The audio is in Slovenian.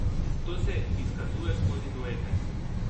To se izkazuje skozi duete.